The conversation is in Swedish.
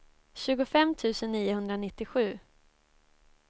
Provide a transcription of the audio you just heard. tjugofem tusen niohundranittiosju